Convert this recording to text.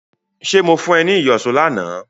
Ṣé mo fún ọ ní ìyọ̀ṣó lánàá